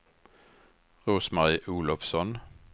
Rose-Marie Olovsson